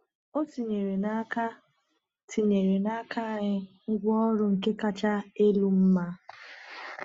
O tinyere n’aka tinyere n’aka anyị ngwaọrụ nke kacha elu mma.